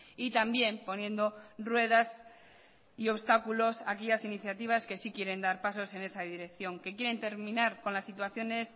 y también poniendo ruedas y obstáculos a aquellas iniciativas que sí quieren dar pasos en esa dirección que quieren terminar con las situaciones